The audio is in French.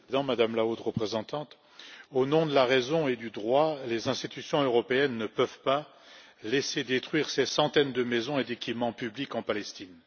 Monsieur le Président, Madame la Haute représentante, au nom de la raison et du droit, les institutions européennes ne peuvent laisser détruire ces centaines de maisons et d'équipements publics en Palestine.